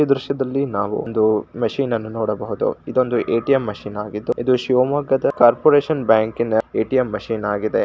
ಈ ದೃಶ್ಯದಲ್ಲಿ ನಾವು ಒಂದು ಮೆಷಿನ್ ಅನ್ನು ನೋಡಬಹುದು ಎಟಿಎಂ ಮಷೀನ್ ಆಗಿದ್ದು ಇದು ಶಿವಮೊಗ್ಗ ಕಾರ್ಪೊರೇಷನ್ ಬ್ಯಾಂಕಿನ ಎಟಿಎಂ ಮಶೀನ್ ಹಾಗಿದೆ.